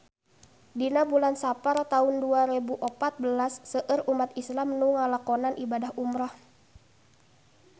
Dina bulan Sapar taun dua rebu opat belas seueur umat islam nu ngalakonan ibadah umrah